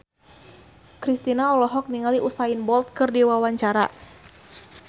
Kristina olohok ningali Usain Bolt keur diwawancara